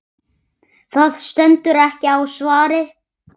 Það stendur ekki á svari.